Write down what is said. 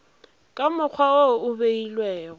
ka mokgwa wo o beilwego